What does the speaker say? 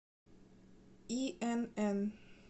инн